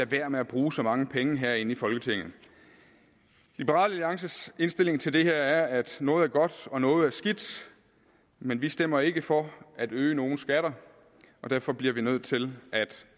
være med at bruge så mange penge herinde i folketinget liberal alliances indstilling til det her er at noget er godt og noget skidt men vi stemmer ikke for at øge nogens skatter og derfor bliver vi nødt til at